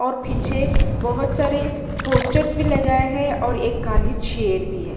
और पीछे बहोत सारे पोस्टर्स भी लगाए है और एक काली चेयर भी है।